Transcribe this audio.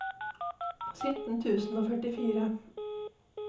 sytten tusen og førtifire